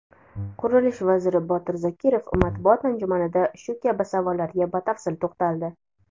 Qurilish vaziri Botir Zokirov matbuot anjumanida shu kabi savollarga batafsil to‘xtaldi.